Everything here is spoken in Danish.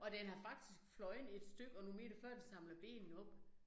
Og den har faktisk fløjet et stykke og nogle meter før den samler benene op